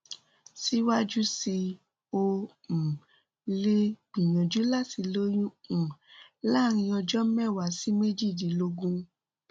ó yẹ kí o tètè lọ rí oníṣègùn ọpọlọ fún àyẹwò àti ìtọjú tó kún rẹrẹ